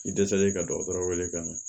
K'i dɛsɛlen ka dɔgɔtɔrɔ wele ka na